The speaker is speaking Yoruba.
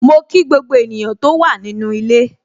Mo kí gbogbo ènìyàn tó wà nínu ilé.